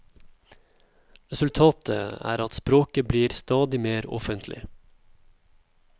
Resultatat er at språket blir stadig mer offentlig.